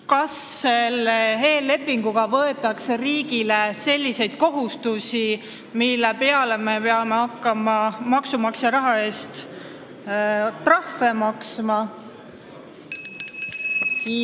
Kas selle eellepinguga võetakse riigile selliseid kohustusi, mille tõttu me peame hakkama maksumaksja raha eest trahve maksma?